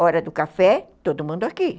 Hora do café, todo mundo aqui.